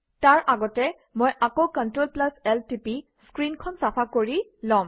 তাৰ আগতে মই আকৌ Clt1 টিপি স্ক্ৰীনখন চাফা কৰি লম